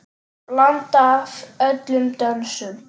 Blanda af öllum dönsum.